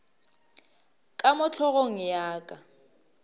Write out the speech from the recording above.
ka mo hlogong ya ka